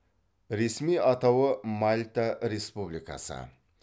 ресми атауы мальта республикасы